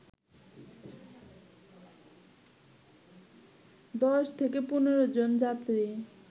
১০ থেকে ১৫ জন যাত্রী